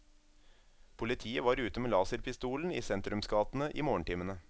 Politiet var ute med laserpistolen i sentrumsgatene i morgentimene.